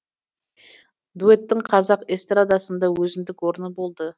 дуэттің қазақ эстрадасында өзіндік орны болды